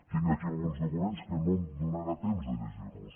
tinc aquí alguns documents que no em donarà temps de llegir los